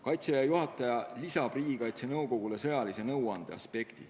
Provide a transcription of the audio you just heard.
Kaitseväe juhataja näol oleks Riigikaitse Nõukogus esindatud sõjalise nõuande aspekt.